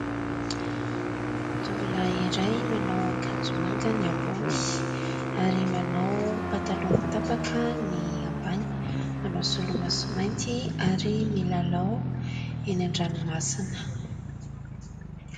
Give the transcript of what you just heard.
Tovolahy iray : manao akanjo manga ny ambony ary manao pataloha mitapaka ny ambany, manao solomaso mainty ary milalao eny an-dranomasina.